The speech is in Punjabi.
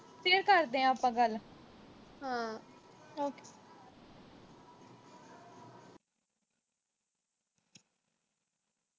ਫਿਰ ਕਰਦੇ ਆਂ ਆਪਾਂ ਗੱਲ।